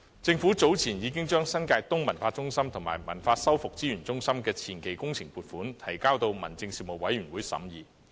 政府早前亦已將新界東文化中心和文物修復資源中心的前期工程撥款，提交民政事務委員會審議。